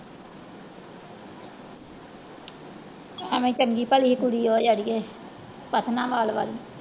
ਐਵੇਂ ਚੰਗੀ ਭਲੀ ਕੁੜੀ ਉਹ ਵੱਲ